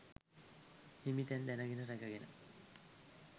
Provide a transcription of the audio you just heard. හිමි තැන් දැනගෙන රැක ගෙන